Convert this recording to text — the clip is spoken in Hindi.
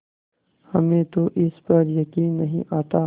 हमें तो इस पर यकीन नहीं आता